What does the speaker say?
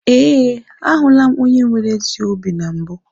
Ee, ahụla m onye nwere ezi obi na mbụ.